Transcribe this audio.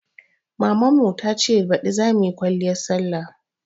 Mamun ta ce baɗi za muyi kwaliyan sallah